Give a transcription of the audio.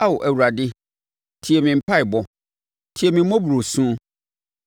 Ao Awurade, tie me mpaeɛbɔ; tie me mmɔborɔ su.